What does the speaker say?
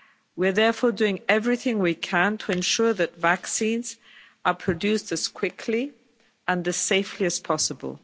We are therefore doing everything we can to ensure that vaccines are produced as quickly and as safely as possible.